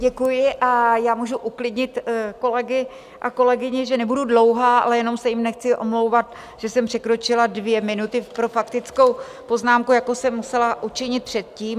Děkuji a já můžu uklidnit kolegy a kolegyně, že nebudu dlouhá, ale jenom se jim nechci omlouvat, že jsem překročila dvě minuty pro faktickou poznámku, jako jsem musela učinit předtím.